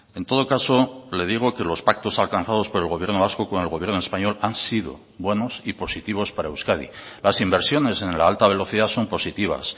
en todo caso le digo que los pactos alcanzados por el gobierno vasco con el gobierno español han sido buenos y positivos para euskadi las inversiones en la alta velocidad son positivas